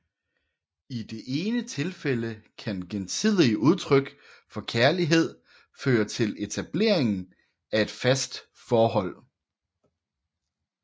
I det ene tilfælde kan gensidige udtryk for kærlighed føre til etableringen af et fast forhold